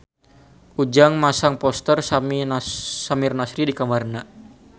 Ujang masang poster Samir Nasri di kamarna